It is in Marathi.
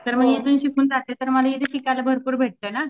तर मी इथून शिकून जाते तर मला इथं पण शिकायला भरपूर भेटतं ना.